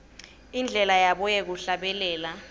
indlela yabo yekuhlabelela